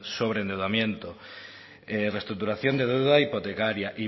sobreendeudamiento restructuración de deuda hipotecaria